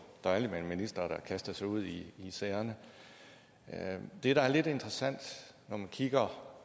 dejligt med en minister der kaster sig ud i sagerne det der er lidt interessant når man kigger